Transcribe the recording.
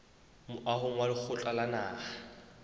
moahong wa lekgotla la naha